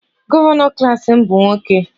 Gọvanọ klas m bụ nwoke